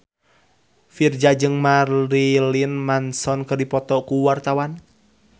Virzha jeung Marilyn Manson keur dipoto ku wartawan